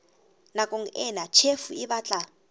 nakong ena tjhefo e batla